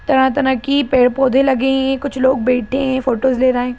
तरह-तरह की पेड़-पौधे लगे हैं कुछ लोग बैठे हैं फोटोज ले रहे हैं।